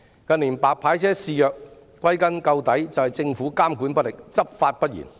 近年"白牌車"肆虐，歸根究底是政府監管不力，執法不嚴。